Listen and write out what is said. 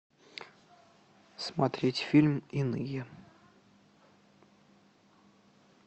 смотреть фильм иные